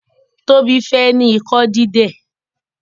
Tobi fè ní Ikọ dídẹ.